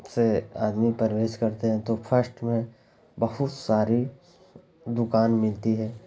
--से आदमी प्रवेश करते हैं तो फर्स्ट में बहुत सारी दुकान मिलती है।